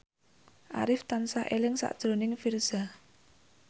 Arif tansah eling sakjroning Virzha